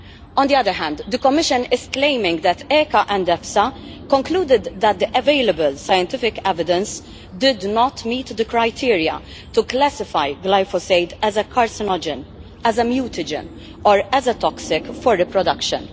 On the other hand, the Commission is claiming that ECHA and EFSA concluded that the available scientific evidence did not meet the criteria to classify glyphosate as a carcinogen, as a mutagen or as toxic for reproduction.